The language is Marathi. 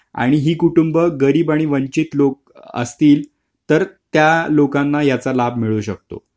आणि हीकुटुंबी गरीब आणि वंचित लोक असतील तर त्या लोकांना याचा लाभ मिळू शकतो